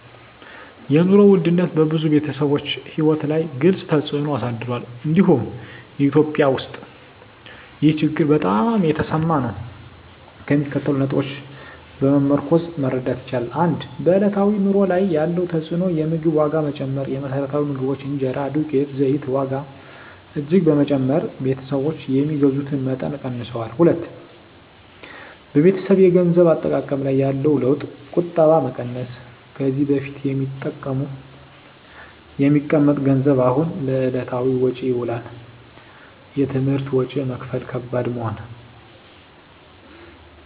የኑሮ ውድነት በብዙ ቤተሰቦች ሕይወት ላይ ግልፅ ተፅዕኖ አሳድሯል፤ እንዲሁም በEthiopia ውስጥ ይህ ችግር በጣም የተሰማ ነው። ከሚከተሉት ነጥቦች በመመርኮዝ መረዳት ይቻላል፦ 1. በዕለታዊ ኑሮ ላይ ያለው ተፅዕኖ የምግብ ዋጋ መጨመር: የመሰረታዊ ምግቦች (እንጀራ፣ ዱቄት፣ ዘይት) ዋጋ እጅግ በመጨመር ቤተሰቦች የሚገዙትን መጠን ቀንሰዋል። 2. በቤተሰብ የገንዘብ አጠቃቀም ላይ ያለው ለውጥ ቁጠባ መቀነስ: ከዚህ በፊት የሚቀመጥ ገንዘብ አሁን ለዕለታዊ ወጪ ይውላል። የትምህርት ወጪ መክፈል ከባድ መሆን